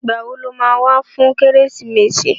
Ìgbà wo lo ma wá fún Kérésìmesì?